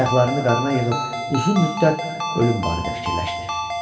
Ayaqlarını qarına yığıb uzun müddət ölüm barədə fikirləşdi.